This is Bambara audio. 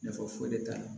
Nafa foyi de t'a la